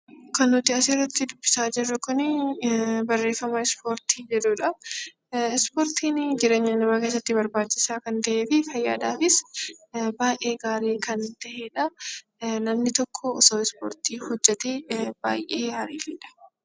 Kan nuti as irratti dubbisaa jirru kuni barreeffama 'Ispoortii' jedhu dha. Ispoortiin jireenya namaa keessatti barbaachisaa kan ta'ee fi fayyaa dhaafis baay'ee gaarii kan ta'e dha. Namni tokko osoo Ispoortii hojjetee baay'ee gaaridha